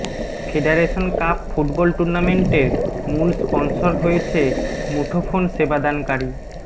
federation cup football টুর্নামেন্টের মূল sponsor হয়েছে মুঠোফোন সেবাদানকারী